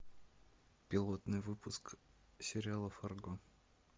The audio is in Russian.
пилотный выпуск сериала фарго